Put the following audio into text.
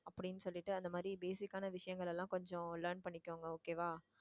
அப்படின்னு சொல்லிட்டு அந்த மாதிரி basic ஆன விஷயங்கள் எல்லாம் கொஞ்சம் learn பண்ணிக்கோங்க okay வா